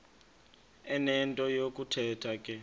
enento yokuthetha ke